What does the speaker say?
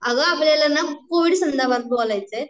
अगं आपल्याला ना कोविड संदर्भात बोलायचय